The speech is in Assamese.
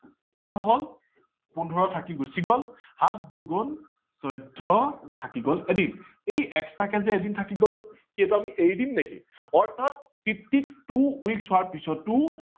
কিমান হল পোন্ধৰ থাকি গুচি গল, সাত দুগুন চৈধ্য থাকি গল এদিন। এই extra কে যে এদিন থাকি গল সেইটো আমি এৰি দিম নিকি অৰ্থাৎ fifty two weeks হোৱাৰ পিছটো